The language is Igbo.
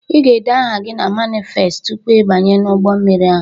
"Ị ga-ede aha gị na manifest tupu ịbanye n'ụgbọmmiri ahụ"